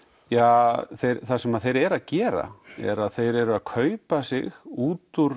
ja það sem þeir eru að gera er að þeir eru að kaupa sig út úr